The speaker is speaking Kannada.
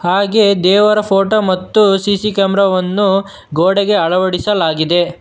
ಹಾಗೆ ದೇವರ ಫೋಟೋ ಮತ್ತು ಸಿ_ಸಿ ಕ್ಯಾಮರ ವನ್ನು ಗೋಡೆಗೆ ಅಳವಡಿಸಲಾಗಿದೆ.